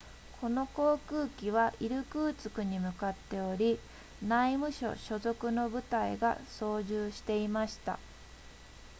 この航空機はイルクーツクに向かっており内務省所属の部隊が操縦していました